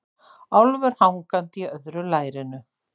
Álfur hangandi í öðru lærinu.